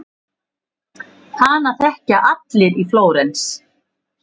Hana þekkja allir í Flórens.